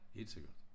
Helt sikkert